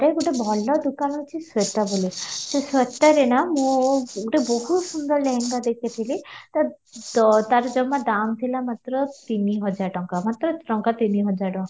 ରେ ଗୋଟେ ଭଲ ଦୋକାନ ଅଛି ଶ୍ୱେତା ବୋଲି ସେ ଶ୍ଵେତାରେ ନା ମୁଁ ଗୋଟେ ବହୁତ ସୁନ୍ଦର ଲେହେଙ୍ଗା ଦେଖିଥିଲି ତ ତା'ର ଜମା ଦାମ ଥିଲା ମାତ୍ର ତିନି ହଜାର ଟଙ୍କା ମାତ୍ର ଟଙ୍କା ତିନି ହଜାର ଟଙ୍କା